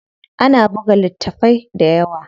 Ana buga littafai dayawa.